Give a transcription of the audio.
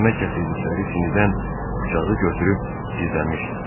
Yemək gətirdikləri sinidən bıçağı götürüb gizlənmişdim.